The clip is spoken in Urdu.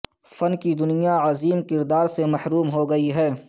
فن کی دنیا عظیم کردار سے محروم ہو گئی